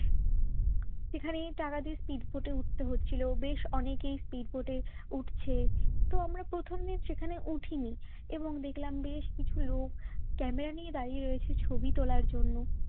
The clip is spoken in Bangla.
সেখানে টাকা দিয়ে speedboat উঠতে হচ্ছিল বেশ অনেকই speedboat উঠছে তো আমরা প্রথমে সেখানে উঠিনি এবং দেখলাম বেশ কিছু লোক ক্যামেরা নিয়ে দাঁড়িয়ে রয়েছে ছবি তোলার জন্য